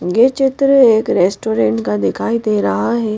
यह चित्र एक रेस्टोरेंट का दिखाई दे रहा है।